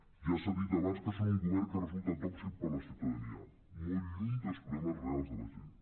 ja s’ha dit abans que són un govern que resulta tòxic per la ciutadania molt lluny dels proble·mes reals de la gent